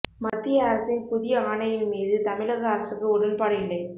மத்திய அரசின் புதிய ஆணையின் மீது தமிழக அரசுக்கு உடன்பாடு இல்லை